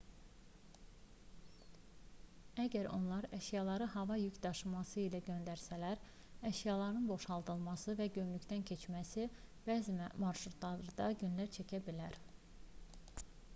əgər onlar əşyaları hava yük daşımaları ilə göndərsələr əşyaların boşaldılması və gömrükdən keçməsi bəzi marşrutlarda günlər çəkə bilər